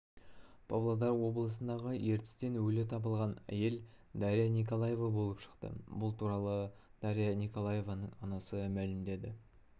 павлодар облысындағы ертістен өлі табылған әйел дарья николаева болып шықты бұл туралы дарья николаеваның анасы мәлімдеді